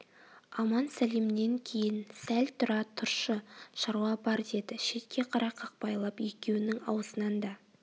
аман-сәлемнен кейін сәл тұра тұршы шаруа бар деді шетке қарай қақпайлап екеуінің аузынан да